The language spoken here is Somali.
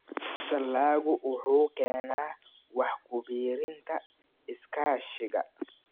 Dalaggu wuxuu keenaa wax ku biirinta Iskaashiga.